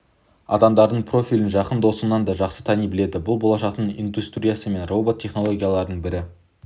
адамдардың профилін жақын досыңнан да жақсы тани біледі бұл болашақтың индустриясы мен робот технологияларының бір